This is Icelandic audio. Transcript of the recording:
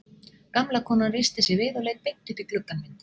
Gamla konan reisti sig við og leit beint upp í gluggann minn.